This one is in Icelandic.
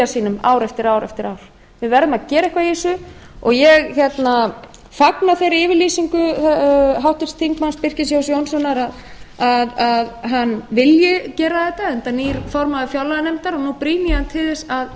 sínum ár eftir ár eftir ár við verðum að gera eitthvað í þessu og ég fagna þeirri yfirlýsingu háttvirtur þingmaður birkis jóns jónssonar að hann vilji gera þetta enda nýr formaður fjárlaganefndar og nú brýni